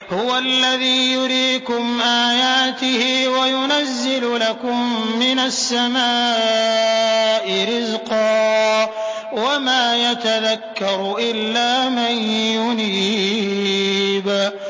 هُوَ الَّذِي يُرِيكُمْ آيَاتِهِ وَيُنَزِّلُ لَكُم مِّنَ السَّمَاءِ رِزْقًا ۚ وَمَا يَتَذَكَّرُ إِلَّا مَن يُنِيبُ